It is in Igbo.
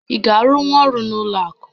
Ị ga-arụnwu ọrụ n'ụlọ akụ?